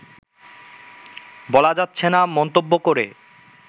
বলা যাচ্ছেনা মন্তব্য করে